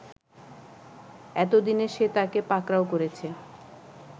এতদিনে সে তাকে পাকড়াও করেছে